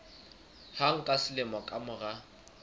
hang ka selemo ka mora